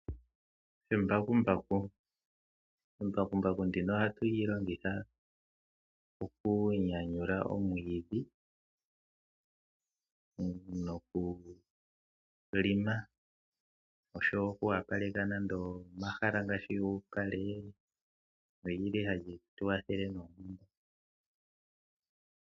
Embakumbaku Embakumbaku ndino ohatu li longitha okunyanyula omwiidhi nokulima nosho wo okwoopaleka nande omahala ngaashi uupale. Oli li hali tu kwathele noonkondo.